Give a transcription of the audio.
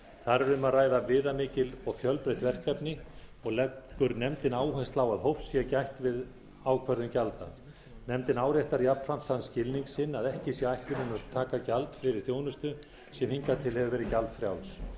þar er um að ræða viðamikil og fjölbreytt verkefni og leggur nefndin áherslu á að hófs sé gætt við ákvörðun gjalda nefndin áréttar jafnframt þann skilning sinn að ekki sé ætlunin að taka gjald fyrir þjónustu sem hingað til hefur verið gjaldfrjáls